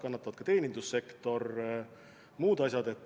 Kannatavad ka teenindussektor ja muud asjad.